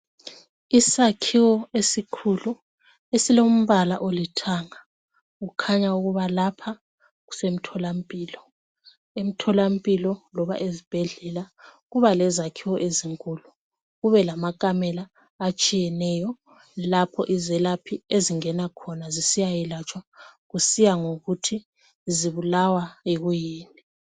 Isakhiwo esikhulu esilompala olithanga kukhanya ukuba lapha kusemtholampilo. Emtholampilo loba ezibhedlela kuba lezakhiwo ezinkulu kube lamankamela atshiyeneyo lapho izelaphi ezingena khona zisiya yelatshwa kusiya ngokuthi zibulawa yikuyini.